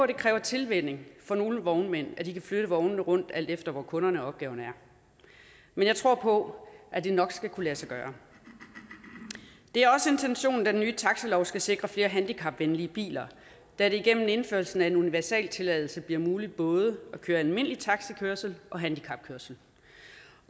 det kræver tilvænning for nogle vognmænd at de kan flytte vognene rundt alt efter hvor kunderne og opgaverne er men jeg tror på at det nok skal kunne lade sig gøre det er også intentionen at den nye taxilov skal sikre flere handicapvenlige biler da det igennem indførelsen af en universaltilladelse bliver muligt både at køre almindelig taxikørsel og handicapkørsel